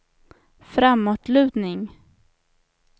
framåtlutning